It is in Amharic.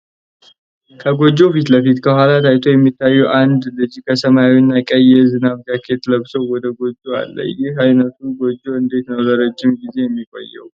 ከጎጆው ፊት ለፊት፣ ከኋላው ታይቶ የሚታየው አንድ ልጅ በሰማያዊና ቀይ የዝናብ ጃኬት ለብሶ ወደ ጎጆው አለ። ይህ ዓይነቱ ጎጆ እንዴት ነው ለረጅም ጊዜ የሚቆየው?